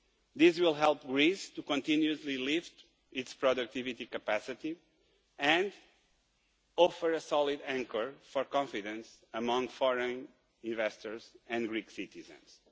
These will help Greece to continuously lift its productivity capacity and offer a solid anchor for confidence amongst foreign investors and Greek citizens.